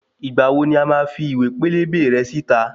Ìgbà wo ni wàá fi ìwé pélébé rẹ síta?